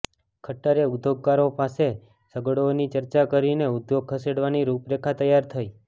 ખટ્ટરે ઉદ્યોગકારો પાસે સગવડોની ચર્ચા કરીને ઉદ્યોગ ખસેડવાની રૂપરેખા તૈયાર થઈ